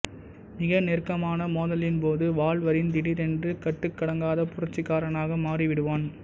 மிக நெருக்கமான மோதலின்போது வால்வரின் திடீரென்று கட்டுக்கடங்காத புரட்சிக்காரனாக மாறிவிடுவான்